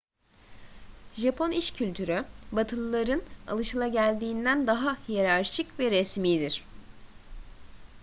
japon iş kültürü batılıların alışageldiğinden daha hiyerarşik ve resmidir